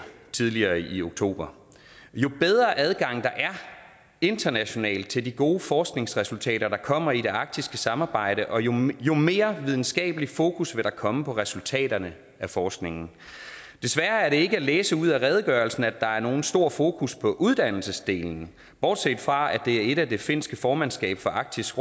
tidligere i oktober jo bedre adgang der er internationalt til de gode forskningsresultater der kommer i det arktiske samarbejde jo mere jo mere videnskabelig fokus vil der komme på resultaterne af forskningen desværre er det ikke til at læse ud af redegørelsen at der er nogen stor fokus på uddannelsesdelen bortset fra at det er en af det finske formandskab for arktisk